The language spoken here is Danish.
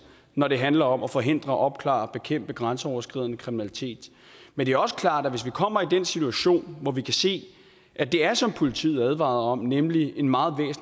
når det handler om at forhindre opklare og bekæmpe grænseoverskridende kriminalitet men det er også klart at hvis vi kommer i en situation hvor vi kan se at det er som politiet advarede om nemlig en meget